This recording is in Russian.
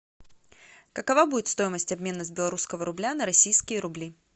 какова будет стоимость обмена с белорусского рубля на российские рубли